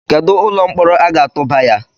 Kedu ụlọ mkpọrọ a ga-atụba ya?